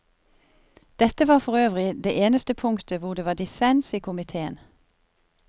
Dette var forøvrig det eneste punktet hvor det var dissens i komiteen.